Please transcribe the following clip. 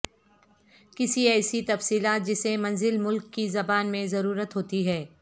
کسی ایسی تفصیلات جسے منزل ملک کی زبان میں ضرورت ہوتی ہے